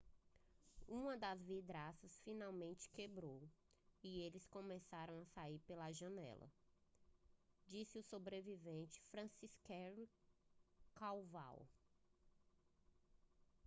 uma das vidraças finalmente quebrou e eles começaram a sair pela janela disse o sobrevivente franciszek kowal